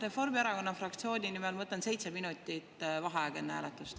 Reformierakonna fraktsiooni nimel võtan seitse minutit vaheaega enne hääletust.